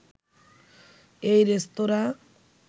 এই রেস্তোঁরা